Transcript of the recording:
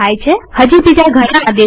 હજી બીજા ઘણા આદેશો છે